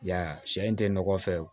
Y'a ye a sɛ in tɛ nɔgɔ fɛ